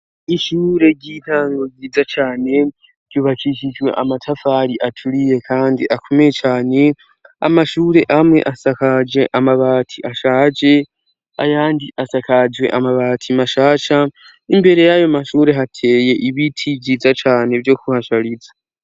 Ishure ry'intango nziza cane, ryubakishijwe amatafari aturiye kandi akomeye cane, amashure amwe asakajwe amabati ashaje, ayandi asakajwe amabati mashasha, imbere y'ayo mashure hateye ibiti vyiza cane vyo kuhashariza.